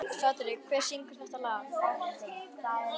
Patrek, hver syngur þetta lag?